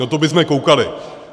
No to bysme koukali!